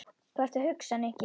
Hvað ertu að hugsa, Nikki?